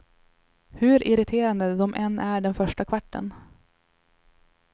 Hur irriterande de än är den första kvarten.